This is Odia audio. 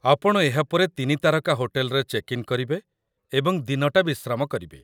ଆପଣ ଏହା ପରେ ୩ ତାରକା ହୋଟେଲରେ ଚେକ୍ ଇନ୍ କରିବେ ଏବଂ ଦିନଟା ବିଶ୍ରାମ କରିବେ।